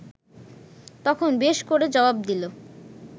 তখন বেশ করে জবাব দিল